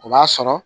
O b'a sɔrɔ